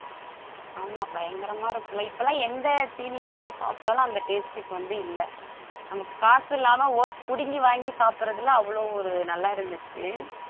ஆமா பயங்கரம இருக்கும்ல இப்ப எல்லாம் எந்த தீனி வாங்கி சாப்பிட்டாலும் அந்த taste க்கு வந்து இல்ல நமக்கு காசு இல்லாம புடுங்கி வாங்கி சாப்பிடுறதுல அவ்ளோ ஒரு நல்லா இருந்துச்சு